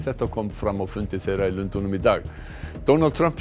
þetta kom fram á fundi þeirra í Lundúnum í dag Donald Trump